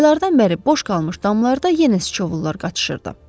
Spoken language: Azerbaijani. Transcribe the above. Aylardan bəri boş qalmış damlarda yenə sıçovullar qaçışırdı.